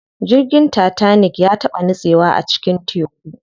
Jirgin tatanik ya taɓa nitsewa a cikin teku.